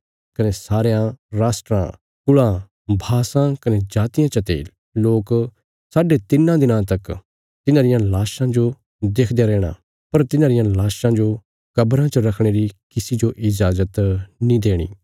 कने सरयां राष्ट्राँ कुल़ां भाषां कने जातियां चते लोक साढे तिन्नां दिनां तक तिन्हांरियां लाशां जो देखदयां रैहणा पर तिन्हांरियां लाशां जो कब्राँ च रखणे री किसी जो इजाज़त नीं देणी